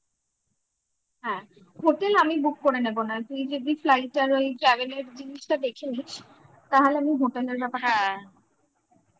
হ্যাঁ hotel আমি book করে নেব তুই শুধুflight আর ওই travel এর জিনিসটা দেখে নিস তাহলে আমি হ্যাঁ